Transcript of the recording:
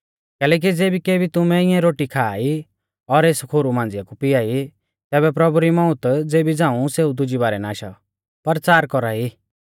कैलैकि ज़ैबै केबी तुमै इऐं रोटी खा ई और एस खोरु मांझ़िया कु पिया ई तैबै प्रभु री मौत ज़ेबी झ़ांऊ सेऊ दुजी बारै ना आशौ परचार कौरी आ